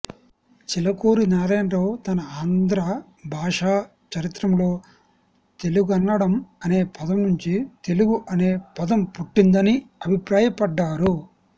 చిలకూరి నారాయణరావు తన ఆంధ్రభాషా చరిత్రములో తెళుగన్నడం అనే పదం నుంచి తెలుగు అనే పదం పుట్టిందని అభిప్రాయపడ్డారు